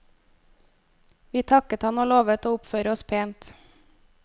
Vi takket han og lovet å oppføre oss pent.